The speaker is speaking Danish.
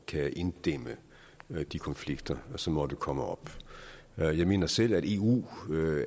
kan inddæmme de konflikter som måtte komme op jeg mener selv at samarbejdet i eu